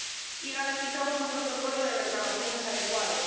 y garantizamos un protocolo de reclamaciones adecuado.